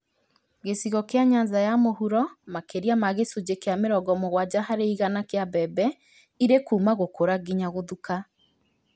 Gĩcigo kĩa Nyanza ya mũhuro makĩria ma gĩcunjĩ kĩa mĩrongo mũgwanja harĩ igana kĩa mbembe irĩ kuuma gũkũra nginya gũthuka